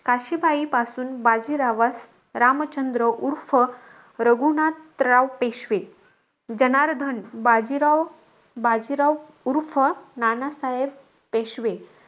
काशीबाईपासून बाजीरावास, रामचंद्र उर्फ रघुनाथराव पेशवे, जनार्दन, बाजीराव बाजीराव-बाजीराव उर्फ नानासाहेब पेशवे,